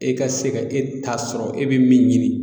E ka se ka e ta sɔrɔ e bi min ɲini